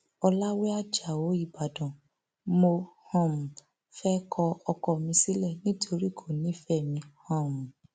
ọlàwé ajáò ìbàdàn mo um fẹẹ kọ ọkọ mi sílẹ nítorí kò nífẹẹ mi um